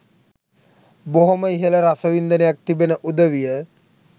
බොහොම ඉහළ රසවින්දනයක් තිබෙන උදවිය